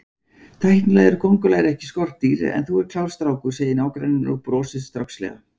Tæknilega eru kóngulær ekki skordýr en þú ert klár strákur, segir nágranninn og brosir strákslega.